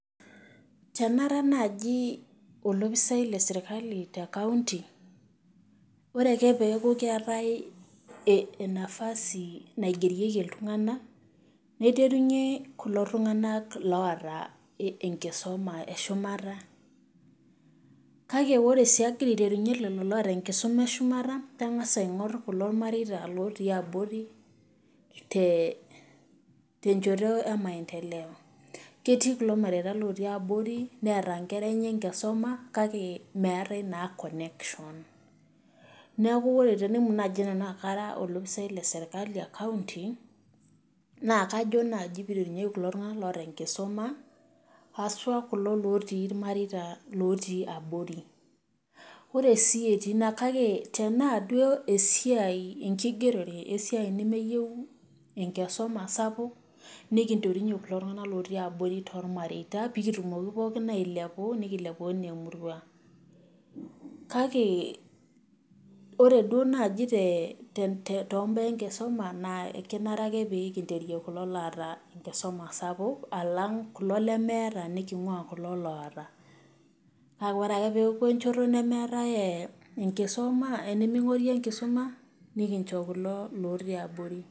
Tenara naaji olopisai lesirkali tecounty ,ore ake pee eku kenyae nafasi naigerieki iltunganak naiterunyie kulo tunganak oota enkisuma eshumata, kake ore sii agira aiterunyie lelo oota enkisuma eshumata, nangas sii aingor kulo otii abori tenchoto emaendeleo. ketii kulo tunganak otii abori neeta inkera enye enkisuma meetae na connection neeku tenemutu naaji nanu aakara olopisaai lesirkali ecounty, naa kajo naaji pee eiterunyieki kulo tunganak oota enkisuma haswa kulo otii irmareita lotii abori, kake ore sii ati ina tena duo esiai enkigerore esiai nemeyieu enkisuma sapuk, nikinterunye kulo tunganak otii abori tormateita pee kitumoki pookin ailepu nikilepu ana emurua, kake ore naaji toombaa enkisuma naa kenare ake pee kinteria kulo loota enkisuma sapuk alang kulo lemeeta nikingua kulo oota. kake ore ake pee enku enchoto nemingori enkisuma nikincho kulo lotii abori.